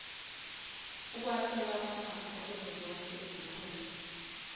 ukwabiwa kwamafa kuzozonkeizikhundla